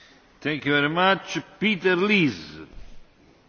Herr Präsident, Herr Kommissar, liebe Kolleginnen und Kollegen!